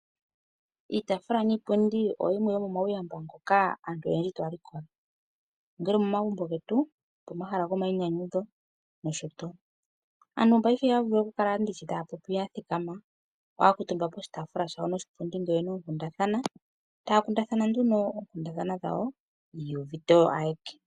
Iitaafula niipundi oyimwe yomomauyamba ngoka aantu oyendji taya likola ongele omomagumbo getu, opomahala gomainyanyudho nosho tuu. Aantu paife ihaya vulu oku kala ndishi taya popi ya thikama, ohaya kuutumba poshitaafula shayo noshipundi ngele oyena oonkundathana, taya kundathana nduno oonkundathana dhawo, yi ivute oyo ayeke.